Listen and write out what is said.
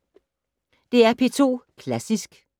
DR P2 Klassisk